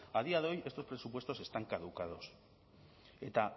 a día de hoy estos presupuestos están caducados eta